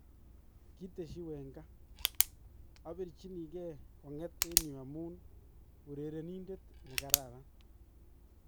Kitesyi Wenger: Abirchinikee kong'et en yuu amun urerenindet ne kararan